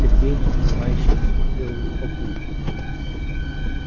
сергей непонимающе посмотрел на папульку